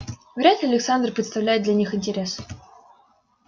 вряд ли александр представляет для них интерес